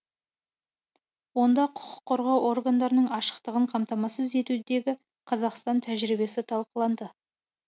онда құқық қорғау органдарының ашықтығын қамтамасыз етудегі қазақстан тәжірибесі талқыланды